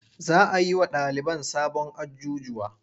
Za a yi wa ɗaliban sabon ajjujuwa.